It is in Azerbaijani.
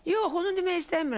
Yox, onu demək istəmirəm.